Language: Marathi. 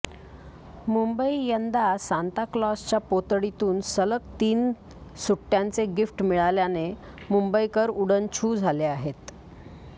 मुंबई यंदा सांताक्लॉजच्या पोतडीतून सलग तीन सुट्ट्य़ांचे गिफ्ट मिळाल्याने मुंबईकर उडन छू झाले आहेत